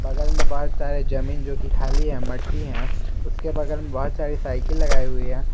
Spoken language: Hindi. बगल मे बहुत सारे जमीन जो कि खाली हैं मट्टी हैं उसके बगल में बहुत सारी साइकिल लगाए हुए हैं।